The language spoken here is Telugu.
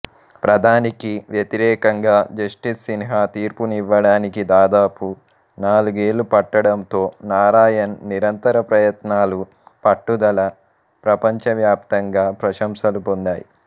ప్రధానికి వ్యతిరేకంగా జస్టిస్ సిన్హా తీర్పునివ్వడానికి దాదాపు నాలుగేళ్ళు పట్టడంతో నారాయణ్ నిరంతర ప్రయత్నాలు పట్టుదల ప్రపంచవ్యాప్తంగా ప్రశంసలు పొందాయి